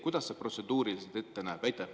Kuidas see protseduuriliselt välja näeb?